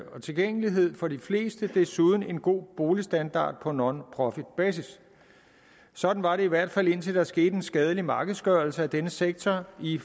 og tilgængelighed for de fleste og desuden en god boligstandard på nonprofitbasis sådan var det i hvert fald indtil der skete en skadelig markedsgørelse af denne sektor i